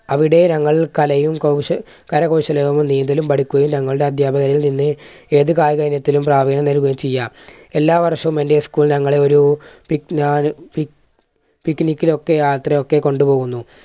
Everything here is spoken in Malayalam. അവിടെ ഞങ്ങൾ കലയും കൗശ~കരകൗശലവും നീന്തലും പഠിക്കുകയും ഞങ്ങളുടെ അധ്യാപകരിൽ നിന്ന് ഏതു കായിക ഇനത്തിലും പ്രാവണ്യം നൽകുകയും ചെയ്യാം എല്ലാ വർഷവും എൻറെ school ഞങ്ങളെ ഒരു pic pic picnic ഒക്കെ യാത്രയൊക്കെ കൊണ്ടുപോകുന്നു.